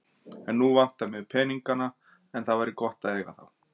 En núna vantar mig ekki peningana en það væri gott að eiga þá.